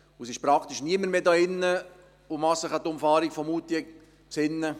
Es gibt niemanden hier drin, der sich an die Umfahrung Moutier erinnert.